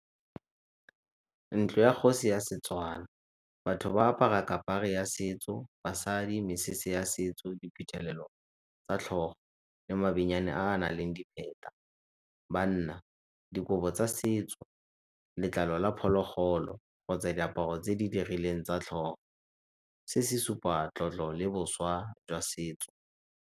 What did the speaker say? Ntlo ya kgosi ya Setswana. Batho ba apara ya setso, basadi mesese ya setso, diphuthelelo tsa tlhogo, le a a nang le . Banna, dikobo tsa setso, letlalo la phologolo kgotsa diaparo tse di dirileng tsa tlhogo, se se supa tlotlo le boswa jwa setso.